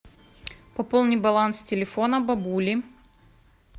пополни баланс телефона бабули